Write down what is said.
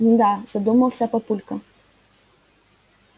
мда задумался папулька